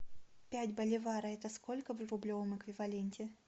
пять боливара это сколько в рублевом эквиваленте